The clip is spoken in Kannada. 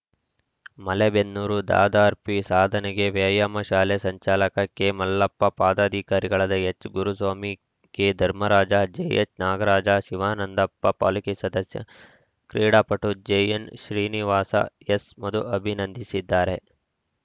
ಮಲೆಬೆನ್ನೂರು ದಾದಾರ್‌ ಪೀ ಸಾಧನೆಗೆ ವ್ಯಾಯಾಮ ಶಾಲೆ ಸಂಚಾಲಕ ಕೆಮಲ್ಲಪ್ಪ ಪದಾಧಿಕಾರಿಗಳಾದ ಎಚ್‌ಗುರುಸ್ವಾಮಿ ಕೆಧರ್ಮರಾಜ ಜೆಎಚ್‌ನಾಗರಾಜ ಶಿವಾನಂದಪ್ಪ ಪಾಲಿಕೆ ಸದಸ್ಯ ಕ್ರೀಡಾಪಟು ಜೆಎನ್‌ಶ್ರೀನಿವಾಸ ಎಸ್‌ಮಧು ಅಭಿನಂದಿಸಿದ್ದಾರೆ